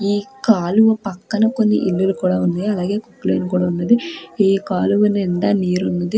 ఈ కాలువ పక్కన కొన్ని ఇళ్లులు కూడ ఉన్నాయి అలాగే కొక్లైన్ కూడ ఉన్నది ఈ కాలువ నిండా నీరు ఉన్నది.